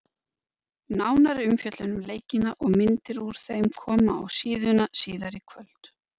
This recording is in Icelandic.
Nánari umfjöllun um leikina og myndir úr þeim koma á síðuna síðar í kvöld.